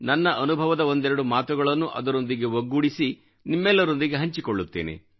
ನನ್ನ ಅನುಭವದ ಒಂದೆರಡು ಮಾತುಗಳನ್ನೂ ಅದರೊಂದಿಗೆ ಒಗ್ಗೂಡಿಸಿ ನಿಮ್ಮೆಲ್ಲರೊಂದಿಗೆ ಹಂಚಿಕೊಳ್ಳುತ್ತೇನೆ